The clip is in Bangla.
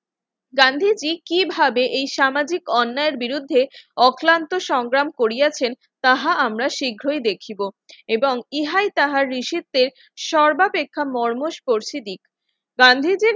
গান্ধীজি কিভাবে এই সামাজিক অন্যায়ের বিরুদ্ধে অক্লান্ত সংগ্রাম করিয়াছেন তাহা আমরা শীঘ্রই দেখিবো এবং ইহাই তাহার নিষেধের সর্বাপেক্ষা মর্ম করছে দিন